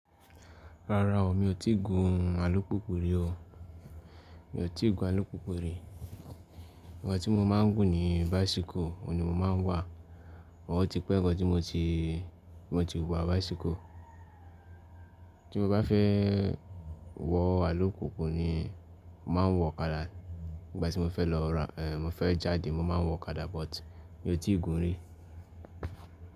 Rárá o, mi ò tí ì gun alùpùpù rí o. Mi ò tí ì gun alùpùpù rí. Ìgbà tí mo máa ń gùn ni báisíkù, òun ni mo máa ń wà. Wọ́n ti pẹ́ ǹkan tí mo ti, mo ti wà báisíkù. Tí mo bá fẹ́ wọ̀ alùpùpù ni, màá wọ ọ̀kadà. Ìgbà tí mo fẹ́ lọ ra, èhè, mo fẹ́ jáde, mo máa ń wọ ọ̀kadà but mi ò tí ì gun rí.